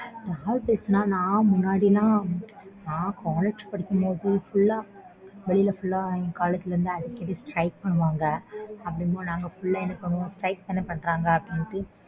யார் பேசுனா நான் முன்னாடிலாம் நான் college படிக்குறபோ full ah வெளிய full ah எங்க லா அடிக்கடி Strike பண்ணுவாங்க அப்படினும் நாங்க full ah என்ன பண்ணுவோம் strike தானா பன்றாங்க அப்படினு